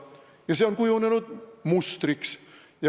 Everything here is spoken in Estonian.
Ja see on kujunenud mustriks.